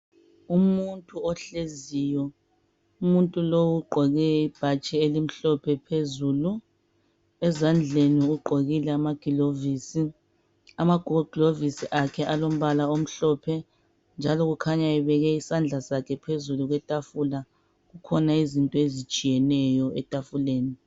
Umuntu ohleziyo. Umuntu lowu ugqoke ibhatshi elimhlophe phezulu. Ezandleni ugqokile amagilovisi. Amagoglovisi akhe alombala omhlophe njalo kukhanya ebeke isandla sakhe phezu kwetafula. Kukhona izinto ezitshiyeneyo etafuleni.